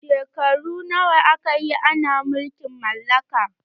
Shekaru nawa aka yi ana mulkin mallaka?